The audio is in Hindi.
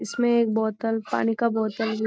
इसमें एक बोतल पानी का बोतल भी --